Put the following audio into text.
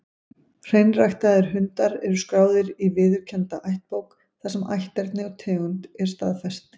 Hreinræktaðir hundar eru skráðir í viðurkennda ættbók, þar sem ætterni og tegund er staðfest.